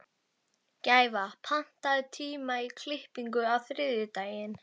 Gæfa, pantaðu tíma í klippingu á þriðjudaginn.